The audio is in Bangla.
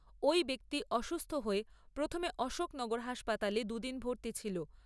ওই ব্যক্তি অসুস্থ হয়ে প্রথমে অশোকনগর হাসপাতালে দু'দিন ভর্তি ছিল।